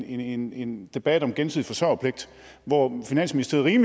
en en debat om gensidig forsørgerpligt hvor finansministeriet